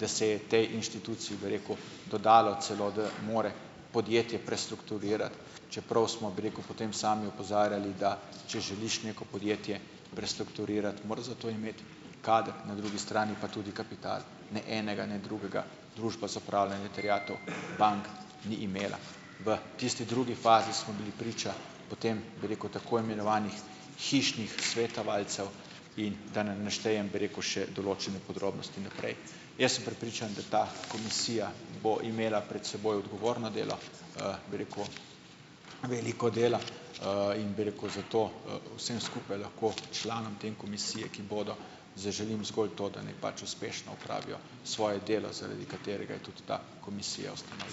da se je tej inštituciji, bi rekel, dodalo celo, da mora podjetje prestrukturirati, čeprav smo, bi rekel, potem sami opozarjali, da če želiš neko podjetje prestrukturirati, moraš za to imeti kader, na drugi strani pa tudi kapital. Ne enega ne drugega Družba za upravljanje terjatev bank ni imela. V tisti drugi fazi smo bili priča potem, bi rekel, tako imenovanih hišnih svetovalcev in da ne naštejem, bi rekel, še določene podrobnosti naprej. Jaz sem prepričan, da ta komisija bo imela pred seboj odgovorno delo, bi rekel, veliko dela, in, bi rekel, zato, vsem skupaj lahko, članom te komisije, ki bodo, zaželim zgolj to, da naj pač uspešno opravijo svoje delo, zaradi katerega je tudi ta komisija ustanovljena.